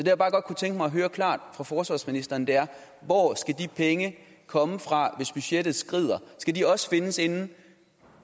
jeg bare godt kunne tænke mig at høre klart fra forsvarsministeren er hvor skal de penge komme fra hvis budgettet skrider skal de også findes inden